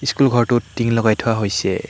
School ঘৰটোত টিং লগাই থোৱা হৈছে।